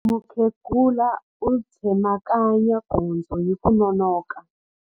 Mukhegula u tsemakanya gondzo hi ku nonoka.